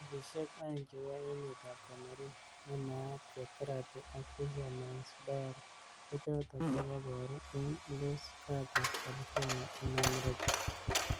Movishek aeng chebo emet ab Cameroon ne naat ko Therapy ak Fisherman's Diary, kochotok chekebaru eng Los Gatos ,California eng America.